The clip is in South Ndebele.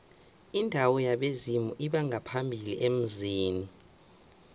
indawo yabezimu lbongaphambili emzini